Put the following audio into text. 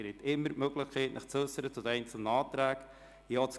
Sie haben immer noch die Möglichkeit, sich zu den einzelnen Anträgen zu äussern.